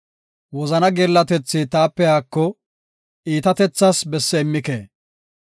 Wozanaa geellatethi taape haako; iitatethaas besse immike.